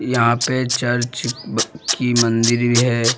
यहाँ पे चर्च ब की मंदिर ई है।